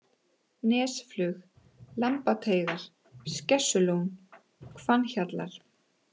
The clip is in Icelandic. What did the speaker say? Nesflug, Lambateigar, Skessulón, Hvannhjallar